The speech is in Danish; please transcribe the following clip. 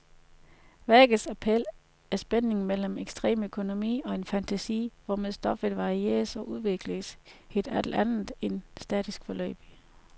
Værkets appel er spændingen mellem ekstrem økonomi og den fantasi hvormed stoffet varieres og udvikles i et alt andet end statisk forløb.